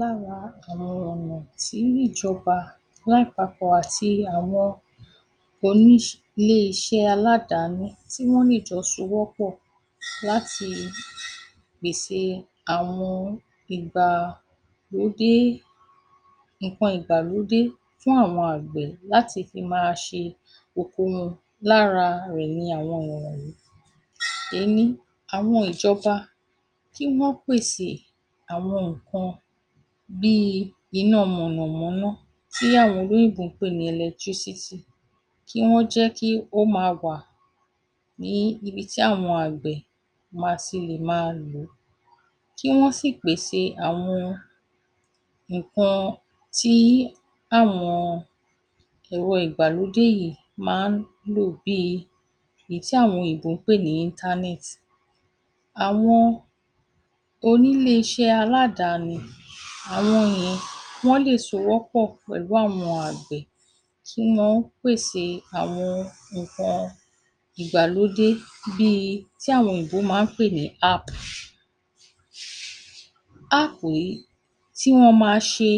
Lára àwọn ọ̀nà tí ìjọba lápapọ̀ àti àwọn onílé iṣẹ́ aládàáni tí wọ́n ní ìjọ fọwọ́sowọ́pọ̀ pèse àwọn ohun nǹkan ìgbàlódé fún àwọn àgbẹ̀ láti fi máa ṣe oko wọn lára ẹ̀ ni àwọn ọ̀nà. Ení. Àwọn ìjọba tí yó pèse àwọn nǹkan bíi iná mọ̀nàmọ́ná tí àwọn olóyìnbó ń pè ni electricity kí wọ́n jẹ́ kí ó máa wà ní ibi tí àwọn àgbẹ̀ ma ti lè máa ríi lò. Kí wọ́n sì pèsè àwọn nǹkan tí àwọn ẹ̀rọ ìgbàlódé yìí máa ń lò bíi ohun tí àwọn oyìnbó ń pè ní internet. Àwọn onílé iṣẹ́ aládàáni àwọn yìí wọ́n lè sowọ́pọ̀ pẹ̀lú àwọn àgbẹ̀ kí wọ́n pèse àwọn nǹkan ìgbalódé bíi tí àwọn òyiǹbó máa ń app. App yìí tí wọ́n máa ṣe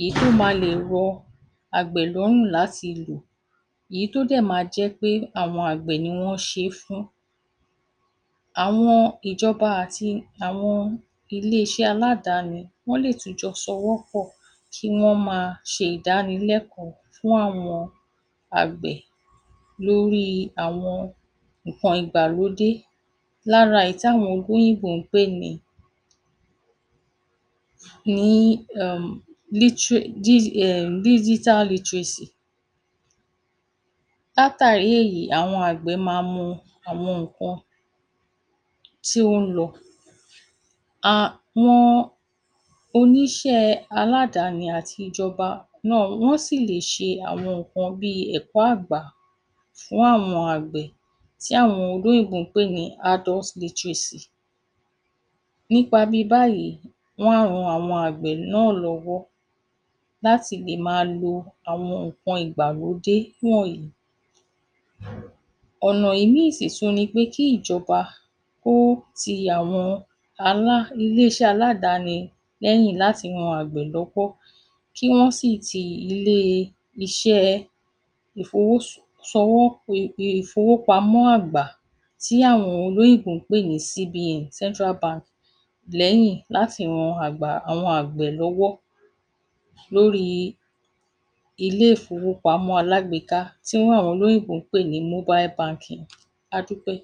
èyí tán máa lè rọ àgbẹ̀ lọ́rùn láti lò. Èyí tó dẹ̀ máa jẹ́ pé àwọn àgbẹ̀ ni wọ́n ṣe é fún. Àwọn ìjọ̀ba àti àwọn ilé iṣẹ́ aládàáni tún lè jọ sowọ́ pọ̀ kí wọn máa ṣe ìdánilẹ́kọ̀ọ́ fún àwọn àgbẹ̀ lórí àwọn nǹkan ìgbàlódé lára èyí tí àwọn olóyìnbo ń pè ní hẹ-ẹ̀ ní Digital literacy. Látàrí èyí, àwọn àgbẹ̀ màa mọ àwọn nǹkan tí ń lọ. Àwọn oníṣẹ́ aládàáni àti ìjọba náà wọn yó sì lè ṣe àwọn nǹkan bíi ẹ̀kọ́ àgbà fún àwọn àgbẹ̀ tí àwọn olóyìnbó ń pè ní adult literacy. Nípa bíi báyìí wọ́n ran àwọn àgbẹ̀ náà lọ́wọ́ láti lè máa lo àwọn nǹkan ìgbàlódé wọ̀nyí. Ọ̀nà ìmíì sì tún ni wí pé kí ìjọba kó ti àwọn alá onílé iṣẹ́ aládàáni lẹ́yìn láti ran àgbẹ̀ lọ́wọ́ kí wọ́n sì ti ilé iṣẹ́ẹ ìfowosowọ́ ìfowópamọ́ àgbà tí àwọn olóyìnbo ń pè ní CBA [Central Bank] lẹ́yìn láti ran àgba àwọn àgbẹ̀ lọ́wọ́ lóri ilé ìfowópamọ́ alágbèéká tí àwọn olóyìnbo n pè ní Mobile Banking. A dúpẹ́.